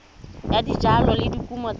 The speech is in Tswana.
ya dijalo le dikumo tsa